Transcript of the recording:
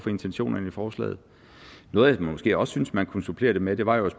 intentionerne i forslaget noget jeg måske også synes man kunne supplere det med var jo